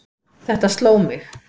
Þetta sló mig.